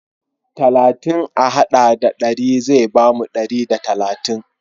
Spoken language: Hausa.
Talatin a haɗa da ɗari zai bamu ɗari da talatin.